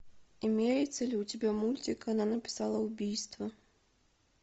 имеется ли у тебя мультик она написала убийство